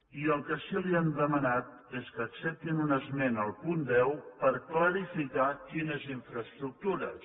i el que sí que li hem demanat és que acceptin una esmena al punt deu per clarificar quines infraestructures